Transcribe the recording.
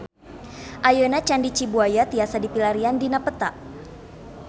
Ayeuna Candi Cibuaya tiasa dipilarian dina peta